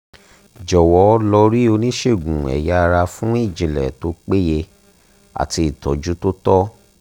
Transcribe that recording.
jọ̀wọ́ lo ri oníṣègùn eya ara fún ìjìnlẹ̀ tó péye àti ìtọ́jú tó tọ́